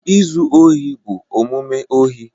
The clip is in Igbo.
Izu ohi bụ omume ohi